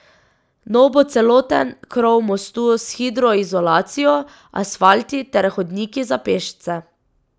Nov bo celoten krov mostu s hidroizolacijo, asfalti ter hodniki za pešce.